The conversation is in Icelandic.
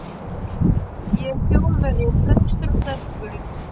Ég er Þjóðverji, hraustur og sterkur.